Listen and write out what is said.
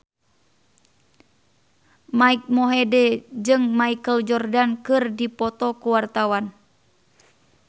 Mike Mohede jeung Michael Jordan keur dipoto ku wartawan